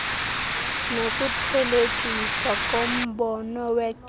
nokuthelekiswa kombono wecebo